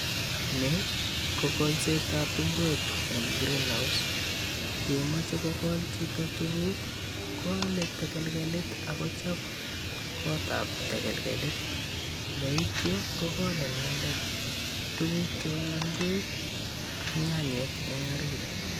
Ni ko kolsetab ingwek eng greenhouse. Yemachei kokol chito tukuk koalei tekelgelit akochop kotap tegelkelit. Neityo kokol inendet tukuk cheu ingwek, ak nyanyik eng orit.